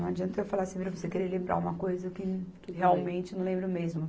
Não adianta eu falar assim para você querer lembrar uma coisa que realmente não lembro mesmo.